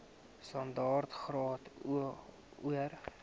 standaard graad or